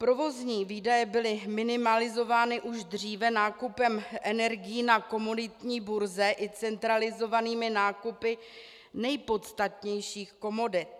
Provozní výdaje byly minimalizovány už dříve nákupem energií na komoditní burze i centralizovanými nákupy nejpodstatnějších komodit.